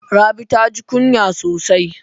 Rabi taji kunya sosai.